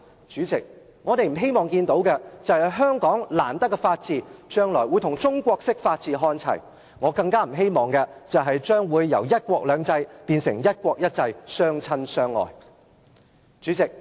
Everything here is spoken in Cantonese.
主席，我們不希望看到，香港難得的法治將來會與中國式法治看齊，我更不希望"一國兩制"會變成"一國一制"，相親相愛。